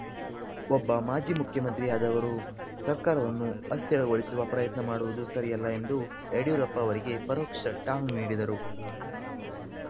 ಒಬ್ಬ ಮಾಜಿ ಮುಖ್ಯಮಂತ್ರಿಯಾದವರು ಸರ್ಕಾರವನ್ನು ಅಸ್ಥಿರಗೊಳಿಸುವ ಪ್ರಯತ್ನ ಮಾಡುವುದು ಸರಿಯಲ್ಲ ಎಂದು ಯಡಿಯೂರಪ್ಪ ಅವರಿಗೆ ಪರೋಕ್ಷ ಟಾಂಗ್‌ ನೀಡಿದರು